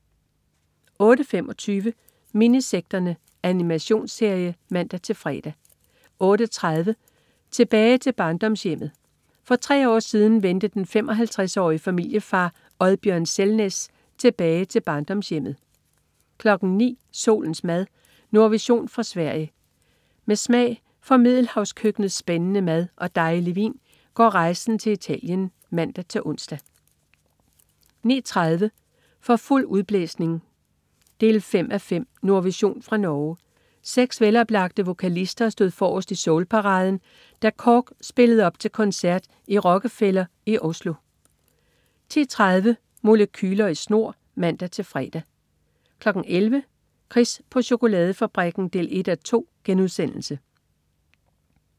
08.25 Minisekterne. Animationsserie (man-fre) 08.30 Tilbage til barndomshjemmet. For tre år siden vendte den 55-årige familiefar Oddbjørn Selnes tilbage til barndomshjemme 09.00 Solens mad. Nordvision fra Sverige. Med smag for middelhavskøkkenets spændende mad og dejlige vin går rejsen til Italien (man-ons) 09.30 For fuld udblæsning 5:5. Nordvision fra Norge. Seks veloplagte vokalister stod forrest i soulparaden, da KORK spillede op til koncert i Rockefeller i Oslo 10.30 Molekyler i snor (man-fre) 11.00 Chris på chokoladefabrikken 1:2*